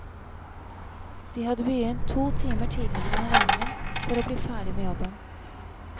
De hadde begynt to timer tidligere enn vanlig for å bli ferdig med jobben.